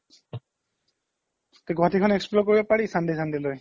তে গুৱাহাতিখন explore কৰিব পাৰি sunday sunday লই